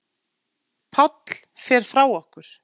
Páll fer frá okkur.